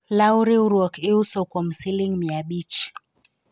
law riwruok iuso kuom siling mia abich